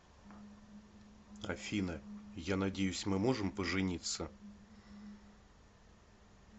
афина я надеюсь мы можем пожениться